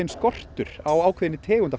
skortur á ákveðnum tegundum